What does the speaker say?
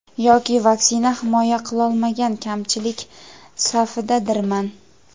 Yoki vaksina himoya qilolmagan kamchilik safidadirman.